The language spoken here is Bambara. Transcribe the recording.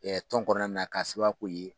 Ɛ tɔn kɔnɔna na k'a sababuya ko ye